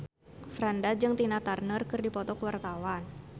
Franda jeung Tina Turner keur dipoto ku wartawan